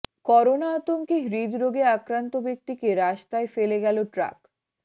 corona আতঙ্কে হৃদরোগে আক্রান্ত ব্যক্তিকে রাস্তায় ফেলে গেলো ট্রাক